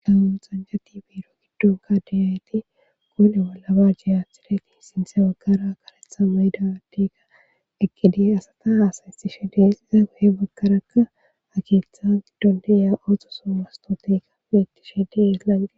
Dawun xanjati beiro giddon kadeyaeti kone bollaba jiyaathideti sintse bagkara karetha maydadiga eqkidi asata haasaystishe des iza goye bagkaraakka akietha giddondiya oxosu mastoteka metti shedeeslange.